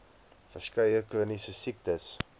verskeie chroniese siektes